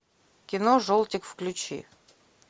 кино желтик включи